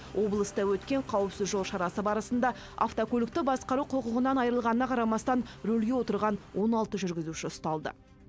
облыста өткен қауіпсіз жол шарасы барысында автокөлікті басқару құқығынан айырылғанына қарамастан рөлге отырған он алты жүргізуші ұсталды